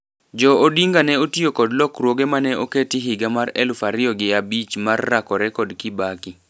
Jo Odinga ne otio kod lokruoge mane oketi higa mar eluf ario gi abich mar rakore kod Kibaki.